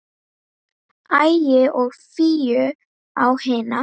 Ægi og Fíu á hina.